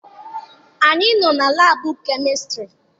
Anyị nọ na laabụ kemistịrị.